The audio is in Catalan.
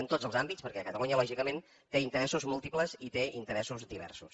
en tots els àmbits perquè catalunya lògicament té interessos múltiples i té interessos diversos